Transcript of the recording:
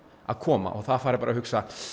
að koma og það fari bara að hugsa